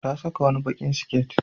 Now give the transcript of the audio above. Ta saka wani baƙin siket.